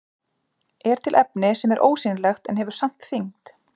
Er til efni sem er ósýnilegt en hefur samt þyngd?